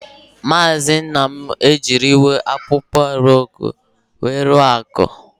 Maazi Nnam ejiriwo akpokpo aru eke nke ya ruo Akpa.